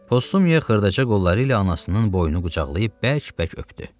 Postumiya xırdaca qolları ilə anasının boynunu qucaqlayıb bərk-bərk öpdü.